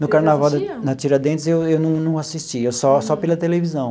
No carnaval na Tiradentes eu eu não não assistia, só só pela televisão.